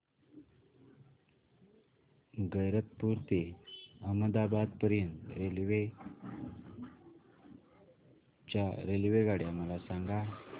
गैरतपुर ते अहमदाबाद पर्यंत च्या रेल्वेगाड्या मला सांगा